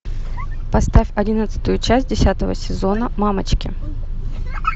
поставь одиннадцатую часть десятого сезона мамочки